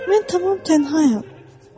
Mən tamam tənhayam.